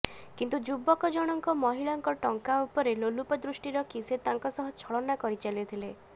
କିନ୍ତୁ ଯୁବକଜଣଙ୍କ ମହିଳାଙ୍କ ଟଙ୍କା ଉପରେ ଲୋଲୁପ ଦୃଷ୍ଟି ରଖି ସେ ତାଙ୍କ ସହ ଛଳନା କରି ଚାଲିଥିଲେ